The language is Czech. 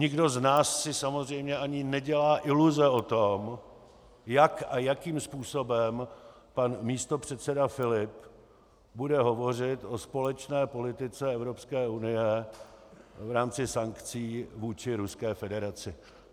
Nikdo z nás si samozřejmě ani nedělá iluze o tom, jak a jakým způsobem pan místopředseda Filip bude hovořit o společné politice Evropské unie v rámci sankcí vůči Ruské federaci.